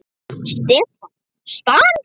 Stefán: Span?!